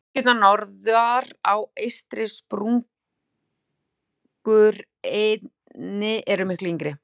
Dyngjurnar norðar á eystri sprungureininni eru miklu yngri.